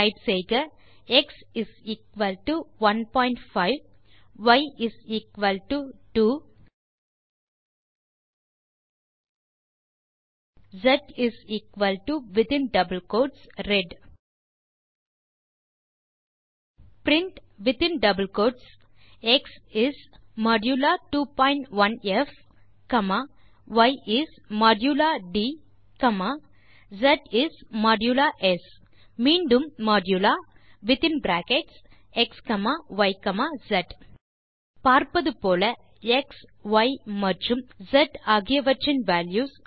type செய்க X 15 Y 2 S within double quotes red print within double quotes X is modulo 2 dot 1ப் comma Y is modulo ட் comma S is modulo S பின் மீண்டும் ஆ modulo within brackets X comma Y comma S பார்ப்பது போல X Y மற்றும் S ஆகியவற்றின் values